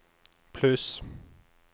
pluss